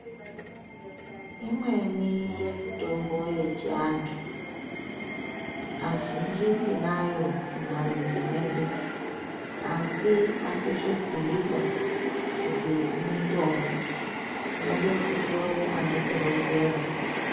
Imweni yemitombo yechiantu kazhinji tinayo mumamizi mwedu, asi hatizviziyiba kuti mitombo. Tinode kuti tione anotironzera.